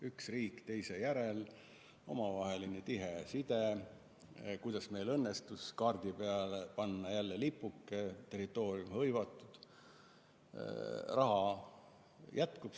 Üks riik teise järel, omavaheline tihe side, kuidas meil õnnestus kaardi peale panna jälle lipuke – territoorium hõivatud, raha jätkub.